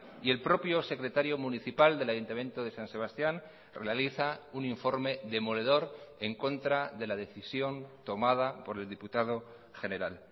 y el propio secretario municipal del ayuntamiento de san sebastián realiza un informe demoledor en contra de la decisión tomada por el diputado general